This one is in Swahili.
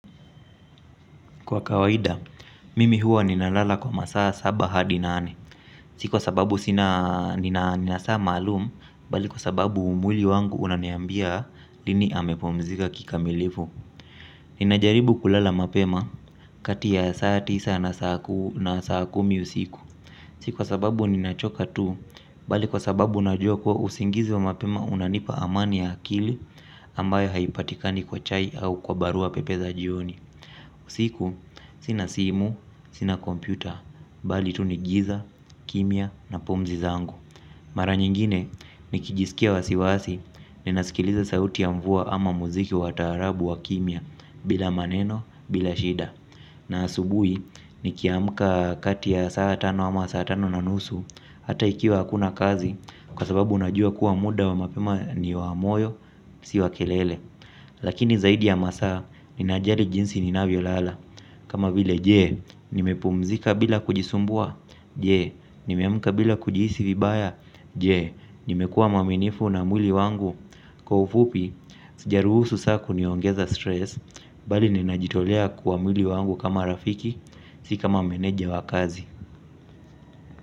Kwa kawaida, mimi huwa ninalala kwa masaa saba hadi nane. Si kwa sababu nina saa maalum, bali kwa sababu mwili wangu unaniambia lini amepumzika kikamilifu. Ninajaribu kulala mapema kati ya saa tisa na saa kumi usiku. Si kwa sababu ninachoka tu, bali kwa sababu najua kuwa usingizi wa mapema unanipa amani ya akili ambayo haipatikani kwa chai au kwa barua pepe za jioni. Usiku, sina simu, sina kompyuta, bali tu ni giza, kimya na pumzi zangu. Mara nyingine, nikijiskia wasiwasi, ninasikiliza sauti ya mvuwa ama muziki wa taarabu wa kimya, bila maneno, bila shida. Na asubui, nikiamka kati ya saa tano ama saa tano na nusu, ata ikiwa akuna kazi, kwa sababu unajua kuwa muda wa mapema ni wa moyo, si wa kelele. Lakini zaidi ya masaa, ninajali jinsi ninavyolala. Kama vile, jee, nimepumzika bila kujisumbua? Jee, nimeamka bila kujiisi vibaya. Jee, nimekua mwaminifu na mwili wangu? Kwa ufupi, sijaruhusu saa kuniongeza stress. Bali ninajitolea kwa mwili wangu kama rafiki. Si kama meneja wa kazi.